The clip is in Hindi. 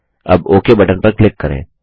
अब ओक बटन पर क्लिक करें